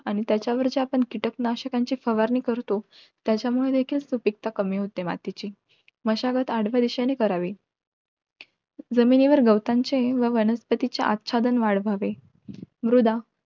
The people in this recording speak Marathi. आणि त्याच्या वरच्या कीटक नाशकांची फवारणी करतो त्याच्यामुळे देखील सुपीकता कमी मातीची होते मशागत आतल्या दिशेने करावी जमिनीवर गवतांची व वनस्पती अस्च्चधन वाढवावी